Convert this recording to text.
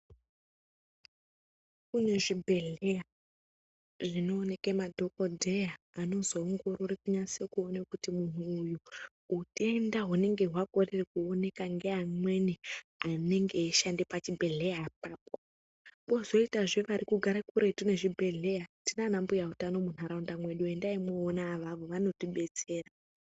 Kune zvibhedhleya zvinooneke madhokodheya anozoongorore kunyase kuone kuti munhu uyu utenda hunenge hwakorere kuoneka ngeamweni anenge eishanda pachibhedhleya apapo. Kwozoitazve vari kugara kuretu nezvibhedhleya, tinanana mbuyautano munharaunda mwedu, endai mwoona avavo vanotibetsera.